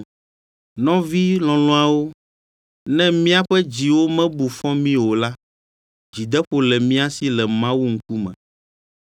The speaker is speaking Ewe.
Nɔvi lɔlɔ̃awo, ne míaƒe dziwo mebu fɔ mí o la, dzideƒo le mía si le Mawu ŋkume,